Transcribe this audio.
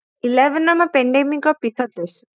eleven ত মই pandemic ৰ পিছত লৈছো